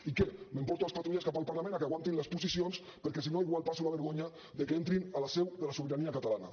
i què m’emporto les patrulles cap al parlament que aguantin les posicions perquè sinó igual passo la vergonya que entrin a la seu de la sobirania catalana